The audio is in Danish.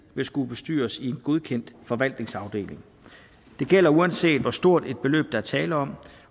vil skulle bestyres i en godkendt forvaltningsafdeling det gælder uanset hvor stort et beløb der er tale om